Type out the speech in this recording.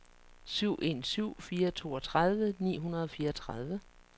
syv en syv fire toogtredive ni hundrede og fireogtredive